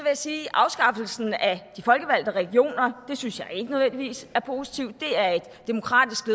jeg sige at afskaffelsen af de folkevalgte regioner synes jeg ikke nødvendigvis er positivt det er et demokratisk